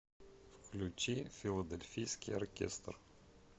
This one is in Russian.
включи филадельфийский оркестр